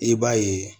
I b'a ye